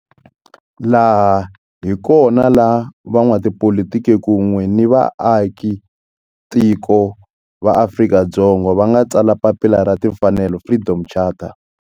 Laha hi kona la van'watipolitiki kun'we ni vaaka tiko va Afrika-Dzonga va nga tsala papila ra timfanelo, Freedom Charter.